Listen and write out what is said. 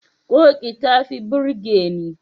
Ƙoƙi ta fi burge ni.